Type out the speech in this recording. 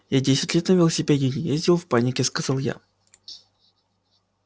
я десять лет на велосипеде не ездил в панике сказал я